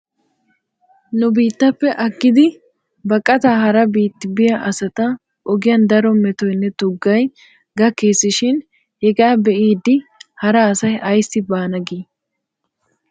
Nu biittappe aggidi baqataa hara biiti biyaa asata ogiyan daro metoynne tuggay gakkes shin hegaa be'iiddi hara asay ayssi bbana gii?